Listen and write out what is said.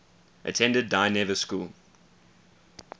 attended dynevor school